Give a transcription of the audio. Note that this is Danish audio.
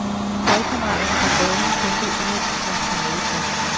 Holdkammeraterne på banen kæmpede indædt for en finaleplads.